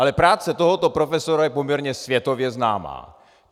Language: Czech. Ale práce tohoto profesora je poměrně světově známá.